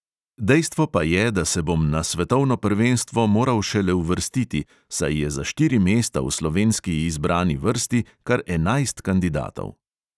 Dejstvo pa je, da se bom na svetovno prvenstvo moral šele uvrstiti, saj je za štiri mesta v slovenski izbrani vrsti kar enajst kandidatov.